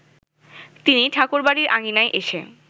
তিনি ঠাকুরবাড়ির আঙিনায় এসে